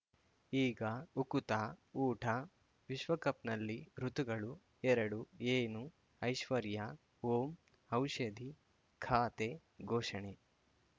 ಈಗ ಉಕುತ ಊಟ ವಿಶ್ವಕಪ್‌ನಲ್ಲಿ ಋತುಗಳು ಎರಡು ಏನು ಐಶ್ವರ್ಯಾ ಓಂ ಔಷಧಿ ಖಾತೆ ಘೋಷಣೆ